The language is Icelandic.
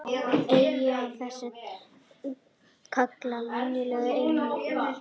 Eyjar af þessu tagi kallast venjulega einnig óshólmar.